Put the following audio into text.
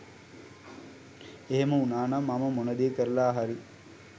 එහෙම උනානම් මම මොන දේ කරලා හරි